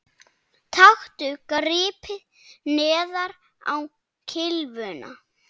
Taktu gripið neðar á kylfuna